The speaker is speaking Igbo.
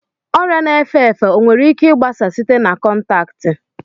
Ọrịa na-efe efe o nwere ike gbasaa site na kọntaktị?